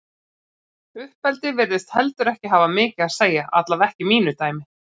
Uppeldi virðist heldur ekki hafa mikið að segja, allavega ekki í mínu dæmi.